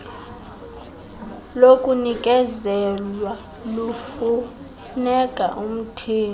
lokunikezelwa lufuneka umthengi